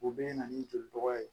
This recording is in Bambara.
U bɛ na ni joli dɔgɔya ye